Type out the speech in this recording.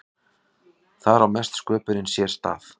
þar á mesta sköpunin sér stað